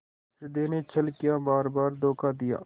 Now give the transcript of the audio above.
हृदय ने छल किया बारबार धोखा दिया